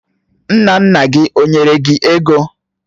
Nna nna gi ó nyere gi ego?